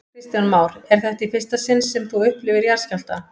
Kristján Már: Er þetta í fyrsta sinn sem þú upplifir jarðskjálfta?